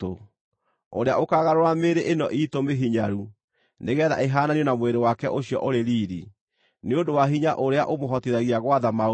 ũrĩa ũkaagarũra mĩĩrĩ ĩno iitũ mĩhinyaru nĩgeetha ĩhaananio na mwĩrĩ wake ũcio ũrĩ riiri, nĩ ũndũ wa hinya ũrĩa ũmũhotithagia gwatha maũndũ mothe.